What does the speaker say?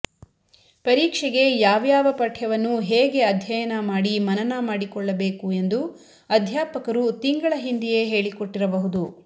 ಪರೀಕ್ಷೆಗೆ ಯಾವ್ಯಾವ ಪಠ್ಯವನ್ನು ಹೇಗೆ ಅಧ್ಯಯನ ಮಾಡಿ ಮನನ ಮಾಡಿಕೊಳ್ಳಬೇಕು ಎಂದು ಅಧ್ಯಾಪಕರು ತಿಂಗಳ ಹಿಂದೆಯೇ ಹೇಳಿಕೊಟ್ಟಿರಬಹುದು